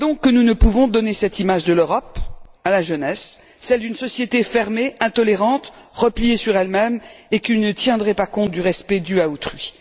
Nous ne pouvons donner cette image de l'Europe à la jeunesse, celle d'une société fermée, intolérante, repliée sur elle même et qui ne tiendrait pas compte du respect dû à autrui.